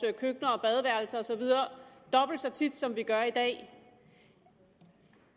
køkkener og badeværelser og så videre dobbelt så tit som vi gør i dag